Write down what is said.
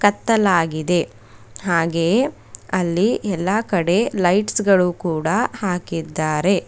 ಕತ್ತಲಾಗಿದೆ ಹಾಗೆಯೇ ಅಲ್ಲಿ ಎಲ್ಲಾ ಕಡೆ ಲೈಟ್ಸ್ ಗಳು ಕೂಡ ಹಾಕಿದ್ದಾರೆ.